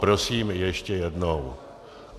Prosím, ještě jednou.